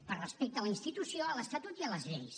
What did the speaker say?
per respecte a la institució a l’estatut i a les lleis